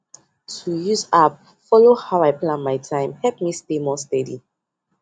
to use app to follow how i plan my time help me stay more steady